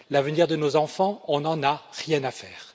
L'avenir de nos enfants, on n'en a rien à faire.